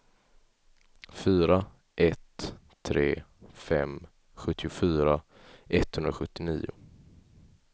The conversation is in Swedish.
fyra ett tre fem sjuttiofyra etthundrasjuttionio